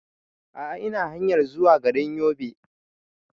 A'a ina hanyar zuwa garin Yobe